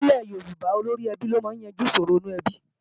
Nílẹ̀ Yorùbá, olóríẹbí ló máa ń yanjú ìṣòro inú ẹbí